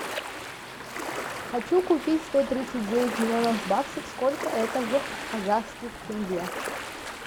хочу купить сто тридцать девять миллионов баксов сколько это в казахских тенге